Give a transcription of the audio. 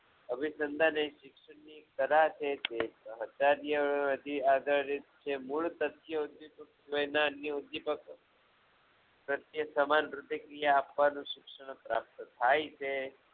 હવે શિક્ષણની જે છે આગળ જે મૂળ તત્યો છેતો એના પ્રત્યે સમાન રૂપે ક્રિયા આપવાનું શિક્ષણ પ્રાપ્ત થાય છે